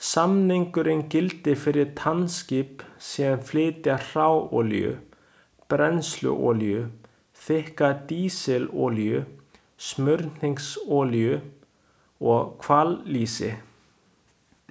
Samningurinn gildir fyrir tankskip sem flytja hráolíu, brennsluolíu, þykka dísilolíu, smurningsolíu og hvallýsi.